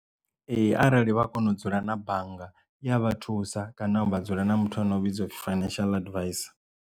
Ee arali vha kona u dzula na bannga iya vha thusa kana vha dzula na muthu ane a vhidzwa upfhi financial advisor.